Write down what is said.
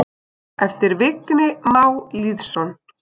eftir Vigni Má Lýðsson